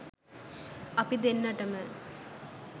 අපි දෙන්නටම